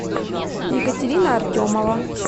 екатерина артемова